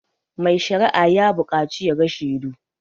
Mai sharia ya buƙacu ya ga shedu